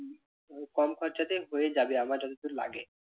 কম খরচাতেই হয়ে যাবে আমার যতদূর লাগে।